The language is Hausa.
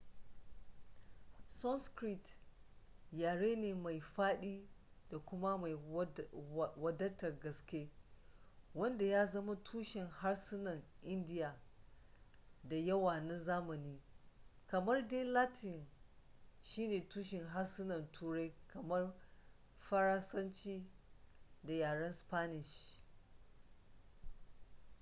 sanskrit yare ne mai fadi da kuma mai wadatar gaske wanda ya zama tushen harsunan indiya da yawa na zamani kamar dai latin shine tushen harsunan turai kamar faransanci da yaran spanish